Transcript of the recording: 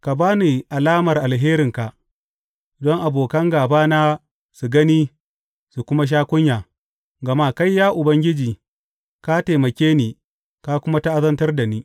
Ka ba ni alamar alherinka, don abokan gābana su gani su kuma sha kunya, gama kai, ya Ubangiji, ka taimake ni ka kuma ta’azantar da ni.